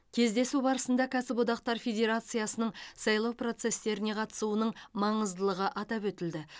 кездесу барысында кәсіподақтар федерациясының сайлау процестеріне қатысуының маңыздылығы атап өтілді